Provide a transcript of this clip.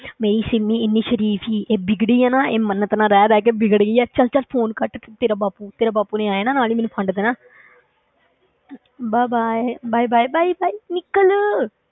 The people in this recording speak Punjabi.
ਮੇਰੀ ਸਿਮੀ ਇੰਨੀ ਸਰੀਫ਼ ਸੀ ਇਹ ਵਿਗੜੀ ਹੈ ਨਾ ਇਹ ਮੰਨਤ ਨਾਲ ਰਹਿ ਰਹਿ ਕੇ ਵਿਗੜ ਗਈ ਹੈ, ਚੱਲ ਚੱਲ phone ਕੱਟ ਤੇ ਤੇਰਾ ਬਾਪੂ ਤੇਰੇ ਬਾਪੂ ਨੇ ਆ ਜਾਣਾ ਨਾਲ ਹੀ ਮੈਨੂੰ ਫੰਡ ਦੇਣਾ bye bye bye bye bye bye ਨਿੱਕਲ।